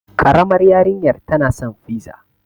Ƙaramar yarinyar tana san fiza.